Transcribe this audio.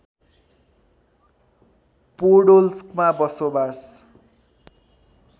पोडोल्स्कमा बसोबास